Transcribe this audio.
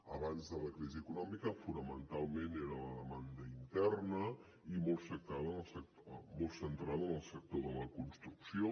abans de la crisi econòmica fonamentalment era la demanda interna i molt centrada en el sector de la construcció